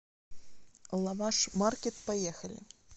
лаваш маркет поехали